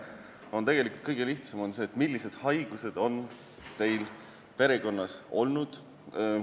siis kõige lihtsam moodus on arvesse võtta, millised haigused on teil perekonnas olnud.